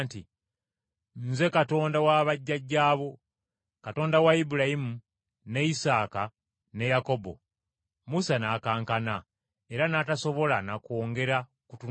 ‘Nze Katonda wa bajjajja bo, Katonda wa Ibulayimu, ne Isaaka ne Yakobo.’ Musa n’akankana, era n’atasobola na kwongera kutunulayo.